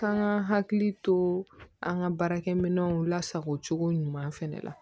K'an ka hakili to an ka baarakɛminɛnw lasago cogo ɲuman fɛnɛ la